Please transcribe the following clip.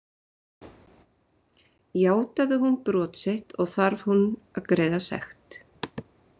Játaði hún brot sitt og þarf hún að greiða sekt.